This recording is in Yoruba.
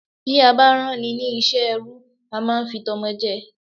Bí a bá rán ni ní iṣẹ́ ẹrú, a máá ń fi tọmọ jẹ́ ẹ